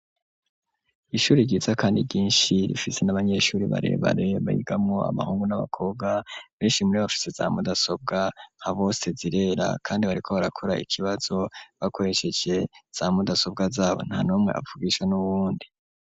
Ishure ryiza kandi ryinshi rifise n'abanyeshure barebare bigamwo amahungu n'abakobwa benshi mure bafise za mudasobwa nka bose zirera kandi bariko barakura ikibazo bakoreshese za mudasobwa zabo nta numwe avugisha n'uwundi.